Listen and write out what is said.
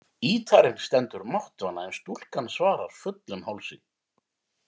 Ýtarinn stendur máttvana, en stúlkan svarar fullum hálsi.